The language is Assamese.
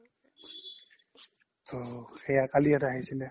তো সেইয়াই কালি ইয়াত আহিছিলে